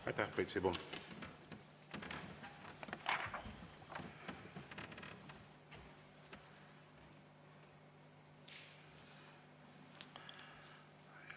Aitäh, Priit Sibul!